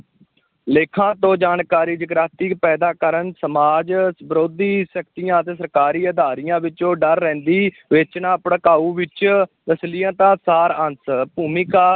ਲੇਖਾਂ ਤੋਂ ਜਾਣਕਾਰੀ, ਜਾਗ੍ਰਿਤੀ ਪੈਦਾ ਕਰਨ, ਸਮਾਜ ਵਿਰੋਧੀ ਸ਼ਕਤੀਆਂ ਅਤੇ ਸਰਕਾਰੀ ਅਦਾਰਿਆ ਵਿੱਚੋਂ ਡਰ ਵੇਚਣਾ, ਭੜਕਾਊ ਵਿੱਚ, ਅਸ਼ਲੀਲਤਾ, ਸਾਰ-ਅੰਸ਼, ਭੂਮਿਕਾ